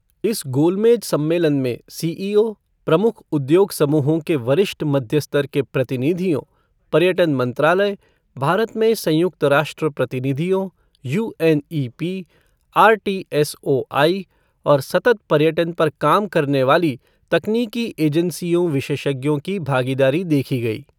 इस गोलमेज सम्मेलन में सीईओ, प्रमुख उद्योग समूहों के वरिष्ठ मध्य स्तर के प्रतिनिधियोँ, पर्यटन मंत्रालय, भारत में संयुक्त राष्ट्र प्रतिनिधियों, यूएनईपी, आरटीएसओआई, और सतत पर्यटन पर काम करने वाली तकनीकी एजेंसियों विशेषज्ञों की भागीदारी देखी गई।